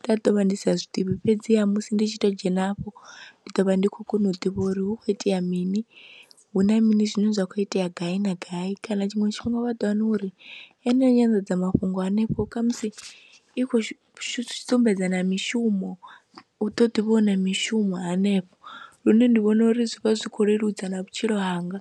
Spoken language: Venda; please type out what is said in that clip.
nda ḓo vha ndi sa zwi ḓivhi fhedziha musi ndi tshi tou dzhena afho ndi ḓo vha ndi khou kona u ḓivha uri hu khou itea mini, hu na mini zwine zwa kho itea gai na gai kana tshiṅwe tshifhinga wa ḓo wana uri eneyo nyanḓadzamafhungo hanefho kha musi i khou sumbedza na mishumo, hu ḓo ḓi vhona mishumo hanefho lune ndi vhona uri zwi vha zwi khou leludza na vhutshilo hanga.